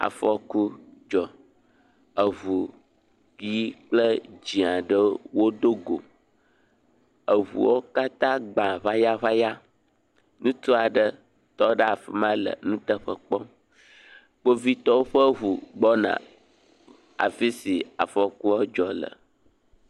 Afɔku dzɔ, eŋu ʋɛ̃ kple dzee aɖewo wodo go, eŋuwo katã gba gbayagbaya, ŋutsu aɖe tɔ ɖe afi ma le nuteƒe kpɔm, kpovitɔwo ƒe ŋu gbɔna afi si afɔkua dzɔ le.